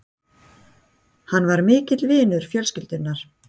Hann var mikill vinur fjölskyldunnar.